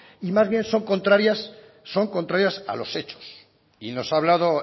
y más bien son contrarias son contrarias a los hechos y nos ha hablado